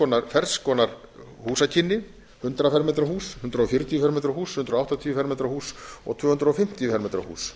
skoðaðir ferns konar húsakynni hundrað fermetra hús hundrað fjörutíu fermetra hús hundrað áttatíu fermetra hús og tvö hundruð fimmtíu fermetra hús